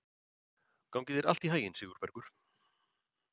Gangi þér allt í haginn, Sigurbergur.